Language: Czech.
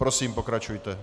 Prosím, pokračujte.